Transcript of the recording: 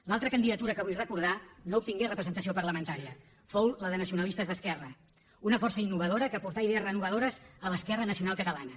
l’altra candidatura que vull recordar no obtingué representació parlamentària fou la de nacionalistes d’esquerra una força innovadora que aportà idees renovadores a l’esquerra nacional catalana